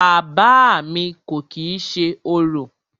Bàbá à mi kò kìí ṣe orò.